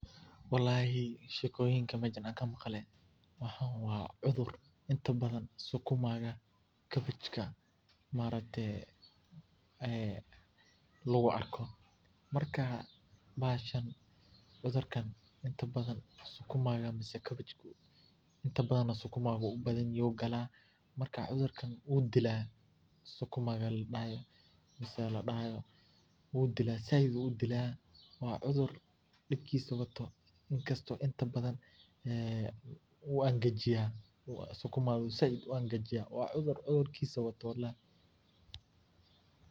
Walahi shekoyiinka iinta badaan aan meshaan kaa maqlee waxaan waa cuduur intaa badaan sukumaaga, kabajkaa maaragtee ee laguu arkoo. markaa bahashaan cudurkaan intaa badaan sukuumaga miseh kabajkuu intaa badaana sukumaagu ayu uu badaan yahaay yuu galaa markaa cudurkaan wuu diila sukumaaga laa dahaayo miseh laa dahaayo wuu diilasaiid ayu uu diila. waa cuduur dipkiisu waato inkaasto intaa badaan ee wuu engajiiya sukumaaga saiid uu engaajiya waa cuduur cuduurkisa waato walahi.